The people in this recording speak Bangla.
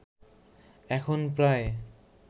এখন প্রায়